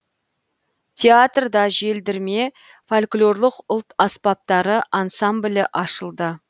театрда желдірме фольклорлық ұлт аспаптары ансамблі ашылды